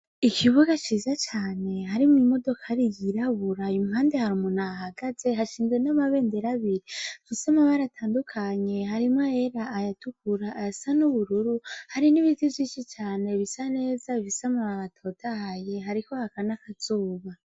Ikibuga ciza cane harimwo imodoka ari iyirabura impande hariumunahagaze hashinzwe n'amabendera biri visoma baratandukanye harimwo era ayatukura ayasa n'ubururu hari n'ibiti vyishi cane bisa neza visama ba batotahaye hariko hakana akazuba.